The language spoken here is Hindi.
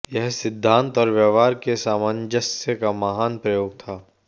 यह सिद्धांत और व्यवहार के सामंजस्य का महान प्रयोग था